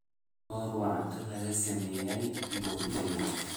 soor waa cunto laga sameeyay bur galley